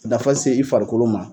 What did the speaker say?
Dafɔ se i farikolo ma.